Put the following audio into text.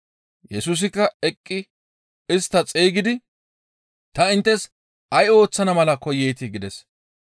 Yesusikka eqqi istta xeygidi, «Ta inttes ay ooththana mala koyeetii?» gides.